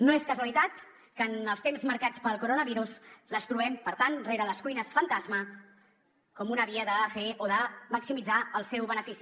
no és casualitat que en els temps marcats pel coronavirus les trobem per tant rere les cuines fantasma com una via de fer o de maximitzar el seu benefici